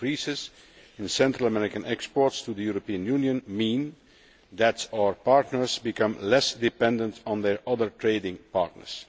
Increases in Central American exports to the European Union mean that our partners become less dependent on their other trading partners.